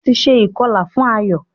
wón tí nṣe ikọla fún Ayo.